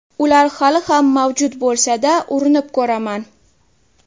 Ular hali ham mavjud bo‘lsa-da, urinib ko‘raman.